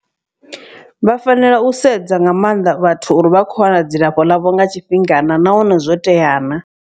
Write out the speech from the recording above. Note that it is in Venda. Vha fanela u sedza nga maanḓa vhathu uri vha khou wana dzilafho ḽavho nga tshifhinga na nahone zwo tea na.